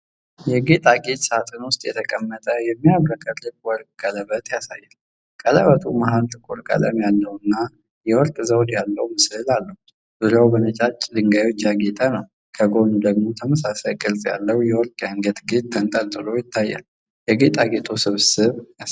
የጌጣጌጥ ሳጥን ውስጥ የተቀመጠ የሚያብረቀርቅ ወርቅ ቀለበት ያሳያል። ቀለበቱ መሃል ጥቁር ቀለም ያለውና የወርቅ ዘውድ ያለው ምስል አለው፤ ዙሪያው በነጫጭ ድንጋዮች ያጌጠ ነው። ከጎን ደግሞ ተመሳሳይ ቅርፅ ያለው የወርቅ የአንገት ጌጥ ተንጠልጥሎ ይታያል፤ የጌጣጌጡንም ስብስብ ያሳያል።